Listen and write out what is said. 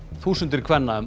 þúsundir kvenna um